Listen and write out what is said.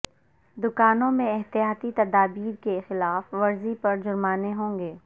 دکانوں میں احتیاطی تدابیر کی خلاف ورزی پر جرمانے ہوں گے